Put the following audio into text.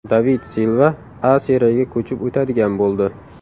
David Silva A Seriyaga ko‘chib o‘tadigan bo‘ldi.